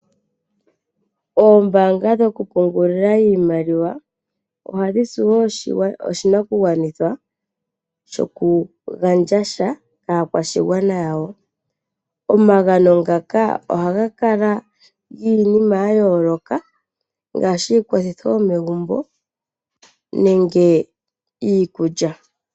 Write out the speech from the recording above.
Ombaanga dhoku pungulila oshimaliwa odhina wo oshi nakugwanithwa shoku gandja sha kaa kwashigwana yawo omagano ngaka ohaga kala giinima ya yooloka ngaashi iikwathitho yomegumbo nenge iikulya.